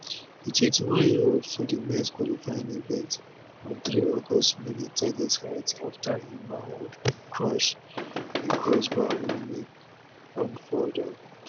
di 21yearold for di mens qualifying event on 3 august miss di target height afta im manhood crash di crossbar wey make am fall down